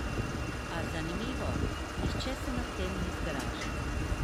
A, zanimivo, nihče se nad tem ni zgražal.